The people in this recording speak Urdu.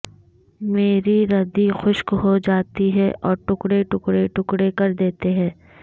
میری ردی خشک ہوجاتی ہیں اور ٹکڑے ٹکڑے ٹکڑے کر دیتے ہیں